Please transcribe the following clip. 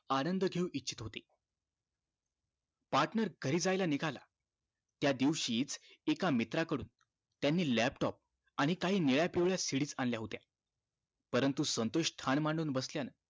आनंद घेऊ इच्छित होते partner घरी जायला निघाला त्या दिवशीच एका मित्रा कडून त्यानी laptop आणि काही निळ्या पिवळ्या CD आणल्या होत्या परंतु संतोष ठाण मांडून बसल्यानं